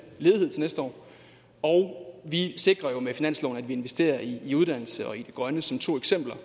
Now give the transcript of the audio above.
ledighed næste år og vi sikrer jo med finansloven at vi investerer i uddannelse og i det grønne som to eksempler